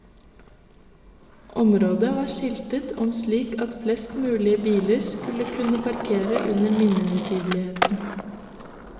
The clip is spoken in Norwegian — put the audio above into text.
Området var skiltet om slik at flest mulig biler skulle kunne parkere under minnehøytideligheten.